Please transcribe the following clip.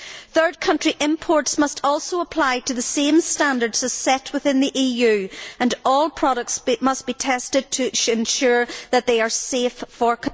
Third country imports must also comply with the same standards as set within the EU and all products must be tested to ensure that they are safe for